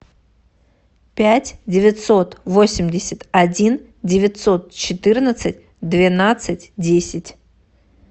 пять девятьсот восемьдесят один девятьсот четырнадцать двенадцать десять